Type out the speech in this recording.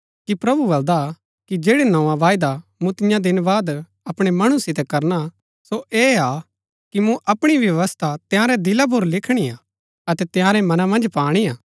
कि प्रभु बल्‍दा कि जैड़ी नोआ वायदा मूँ तियां दिन बाद अपणै मणु सितै करना हा सो ऐह हा कि मूँ अपणी व्यवस्था तंयारै दिला पुर लिखणी हा अतै तिआंरै मनां मन्ज पाणी हा